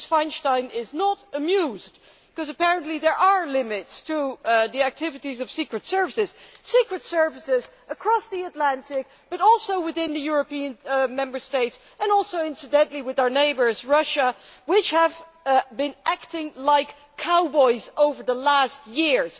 Ms Feinstein is not amused, because apparently there are limits to the activities of secret services secret services across the Atlantic, but also within the European Member States and also, incidentally, within our neighbour, Russia, which have been acting like cowboys over the last few years.